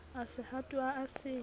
a se hatoha a se